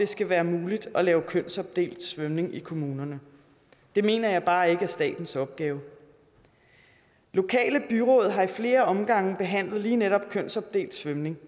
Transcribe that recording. skal være muligt at lave kønsopdelt svømning i kommunerne det mener jeg bare ikke er statens opgave lokale byråd har i flere omgange behandlet lige netop kønsopdelt svømning